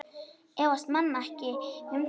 Efast menn ekkert um það?